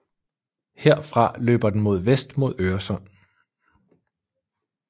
Herfra løber den mod vest mod Øresund